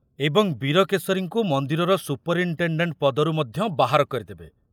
ଏବଂ ବୀରକେଶରୀଙ୍କୁ ମନ୍ଦିରର ସୁପରିନଟେଣ୍ଡେଣ୍ଟ ପଦରୁ ମଧ୍ୟ ବାହାର କରିଦେବେ।